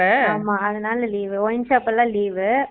ஆமா அதனால leave wineshop எல்ல leave